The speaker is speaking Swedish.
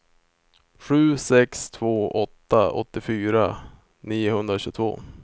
sju sex två åtta åttiofyra niohundratjugotvå